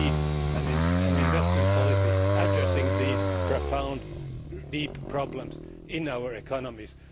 We need an investment policy addressing these profound, deep problems in our economies.